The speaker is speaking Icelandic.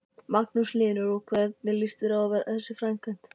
Magnús Hlynur: Og hvernig lýst þér á þessa framkvæmd?